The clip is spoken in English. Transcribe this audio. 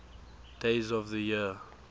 days of the year